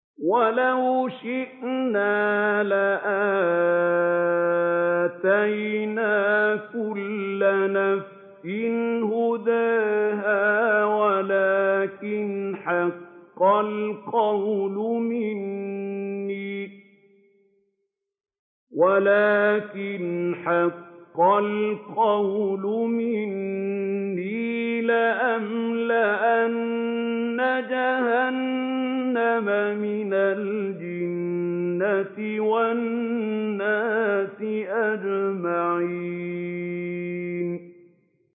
وَلَوْ شِئْنَا لَآتَيْنَا كُلَّ نَفْسٍ هُدَاهَا وَلَٰكِنْ حَقَّ الْقَوْلُ مِنِّي لَأَمْلَأَنَّ جَهَنَّمَ مِنَ الْجِنَّةِ وَالنَّاسِ أَجْمَعِينَ